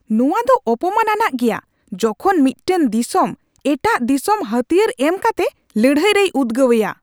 ᱱᱚᱣᱟᱫᱚ ᱚᱯᱚᱢᱟᱱ ᱟᱱᱟᱜ ᱜᱮᱭᱟ ᱡᱚᱠᱷᱚᱱ ᱢᱤᱫᱴᱟᱝ ᱫᱤᱥᱚᱢ ᱮᱴᱟᱜ ᱫᱤᱥᱚᱢ ᱦᱟᱹᱛᱭᱟᱹᱨ ᱮᱢ ᱠᱟᱛᱮ ᱞᱟᱹᱲᱦᱟᱭ ᱨᱮᱭ ᱩᱫᱜᱟᱹᱣᱮᱭᱟ ᱾